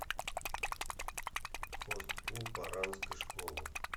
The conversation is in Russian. хост клуб оранской школы